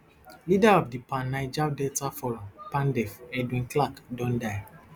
leader of di pan niger delta forum pandef edwin clark don die